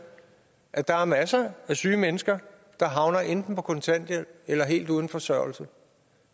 at der er masser af syge mennesker der havner enten på kontanthjælp eller helt uden forsørgelse